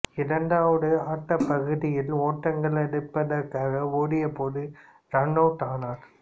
இரண்டாவது ஆட்டப் பகுதியில் ஒட்ட்ங்கள் எடுப்பதற்காக ஓடிய போது ரன் அவுட் ஆனார்